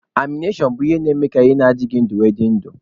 Animashọn bụ fii a na-eme ka ihe adịghị ndụ nwee ndụ na ya.